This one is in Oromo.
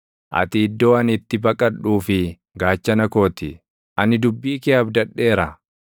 Ati iddoo ani itti baqadhuu fi gaachana koo ti; ani dubbii kee abdadheera.